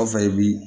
Kɔfɛ i bi